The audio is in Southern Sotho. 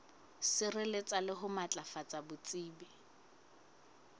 sireletsa le ho matlafatsa botsebi